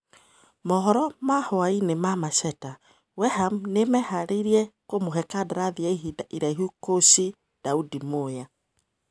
(Mohoro ma-hũainĩ ma-Macheta) Weham nĩmeharĩirie kũmũhe kandarathi ya ihinda iraihu kũchi Daudi Mũya.